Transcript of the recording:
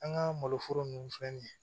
An ka malo foro ninnu fɛn